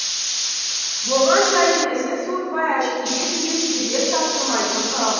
болған жәйдің ізін суытпай әшкере етуге сергек таптырмайтын құрал